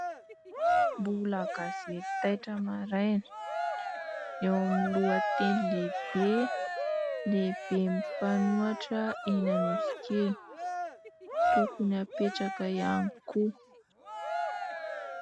Mbola gazety "TAITRA MARAINA" , eo amin'ny lohateny lehibe, "Lehiben'ny mpanoatra eny Anosikely ; tokony hapetraka hiany koa".